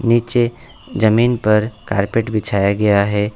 नीचे जमीन पर कारपेट बिछाया गया है।